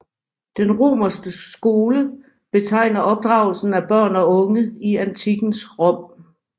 Den romerske skole betegner opdragelsen af børn og unge i antikkens Rom